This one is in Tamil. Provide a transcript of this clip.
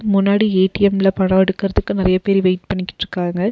முன்னாடி ஏ_டி_எம்ல பணம் எடுக்கறதுக்கு நெறைய பேர் வெயிட் பண்ணிகிட்ருக்காங்க.